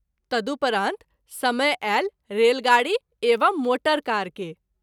तदुपरांत समय आयल रेल गाड़ी एवं मोटर कार के।